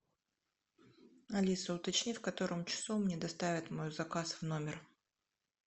алиса уточни в котором часу мне доставят мой заказ в номер